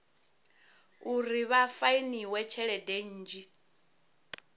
uri vha fainiwe tshelede nnzhi